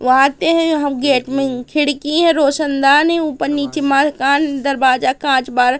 वहां आते हैं यहां गेट में खिड़की है रोशनदान है ऊपर नीचे मॉल कान दरवाजा कांच बार--